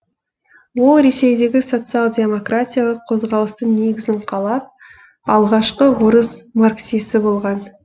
ол ресейдегі социал демократиялық қозғалыстың негізін қалап алғашқы орыс марксисі болған